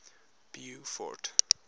beaufort